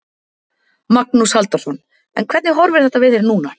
Magnús Halldórsson: En hvernig horfir þetta við þér núna?